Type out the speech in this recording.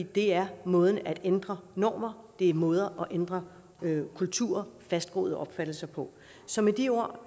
det er måden at ændre normer det er måden at ændre kulturer og fastgroede opfattelser på så med de ord